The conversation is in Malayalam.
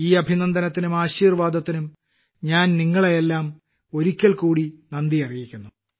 ഈ അഭിനന്ദനത്തിനും ആശീർവാദങ്ങൾക്കും എല്ലാം ഒരിക്കൽക്കൂടി ഞാൻ നിങ്ങളെ ആദരപൂർവ്വം നന്ദി അറിയിക്കുന്നു